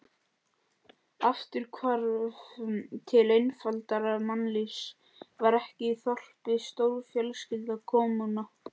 Afturhvarf til einfaldara mannlífs, var ekki þorpið stórfjölskylda, kommúna?